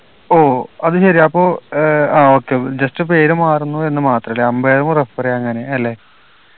ഓ അത് ശരി അപ്പോ ഏർ ആ okay ഉം just പേര് മാറുന്നു എന്ന് മാത്രല്ലേ umpire ഉ referee അങ്ങനെ അല്ലെ